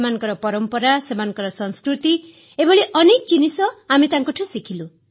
ସେମାନଙ୍କ ପରମ୍ପରା ସେମାନଙ୍କ ସଂସ୍କୃତି ଏଭଳି ଅନେକ ଜିନିଷ ଆମେ ତାଙ୍କଠାରୁ ଶିଖିଲୁ